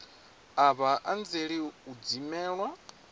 a vha anzeli u dzimelwa